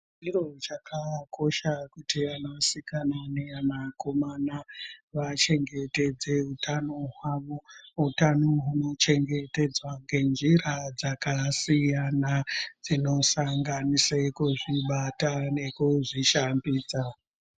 Chiro chakakosha kuti vanasikana nevanakomana vachengetedze utano hwavo utano hunochengetedzwa ngenjira dzakasiyana dzinosqnganise kuzvibata nekuzvishambidza.